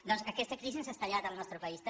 doncs aquesta crisi ens ha esclatat al nostre país també